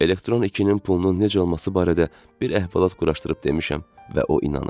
Elektron 2-nin pulunun necə olması barədə bir əhvalat quraşdırıb demişəm və o inanıb.